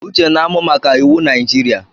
Uche na-amụ maka iwu Najirịa